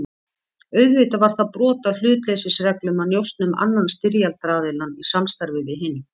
Auðvitað var það brot á hlutleysisreglum að njósna um annan styrjaldaraðiljann í samstarfi við hinn.